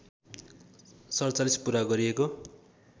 ४७ पुरा गरिएको